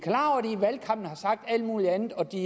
valgkampen har sagt alt muligt andet og at de